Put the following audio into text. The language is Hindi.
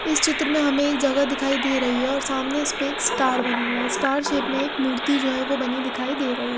इस चित्र में हमे एक जगह दिखाई दे रही है और सामने इसपे एक स्टार बना हुआ है स्टार शेप में एक मूर्ति जो है वो बनी दिखाई दे रही है।